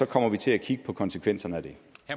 kommer vi til at kigge på konsekvenserne